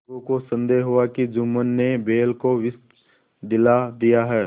अलगू को संदेह हुआ कि जुम्मन ने बैल को विष दिला दिया है